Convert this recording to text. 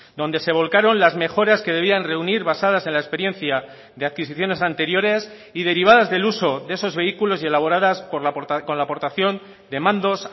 donde se volcaron las mejoras que debían reunir basadas en la experiencia de adquisiciones anteriores y derivadas del uso de esos vehículos y elaboradas con la aportación de mandos